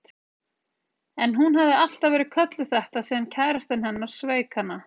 En hún hafði alltaf verið kölluð þetta síðan kærastinn hennar sveik hana.